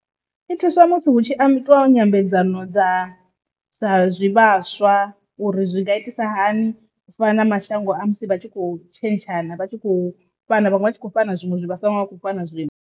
Ndi thuswa musi hu tshi ambiwa twa nyambedzano dza sa zwivhaswa uri zwi nga itisa hani fana na mashango a musi vha tshi kho tshentshana vha tshi khou fhana vhaṅwe vha tshi khou fhana zwiṅwe zwi vhaswa vhane vha khou fhana zwiṅwe.